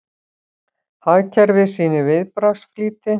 Hagkerfið sýnir viðbragðsflýti